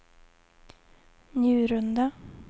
Njurunda